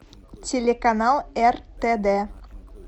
телеканал ртд